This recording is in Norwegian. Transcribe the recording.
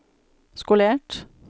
skolert